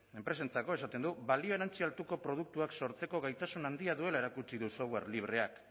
enpresentzako esaten du balio erantsi altuko produktuak sortzeko gaitasun handia duela erakutsi du software